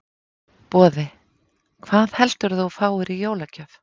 Boði: Hvað heldurðu að þú fáir í jólagjöf?